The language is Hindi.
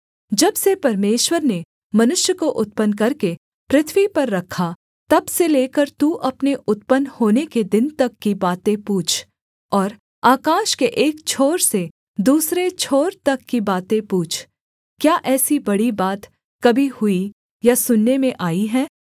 जब से परमेश्वर ने मनुष्य को उत्पन्न करके पृथ्वी पर रखा तब से लेकर तू अपने उत्पन्न होने के दिन तक की बातें पूछ और आकाश के एक छोर से दूसरे छोर तक की बातें पूछ क्या ऐसी बड़ी बात कभी हुई या सुनने में आई है